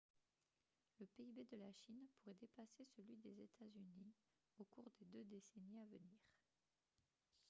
le pib de la chine pourrait dépasser celui des états-unis au cours des deux décennies à venir